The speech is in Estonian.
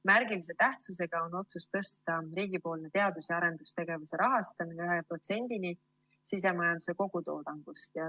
Märgilise tähtsusega on otsus tõsta riigipoolne teadus‑ ja arendustegevuse rahastamine 1%‑ni sisemajanduse kogutoodangust.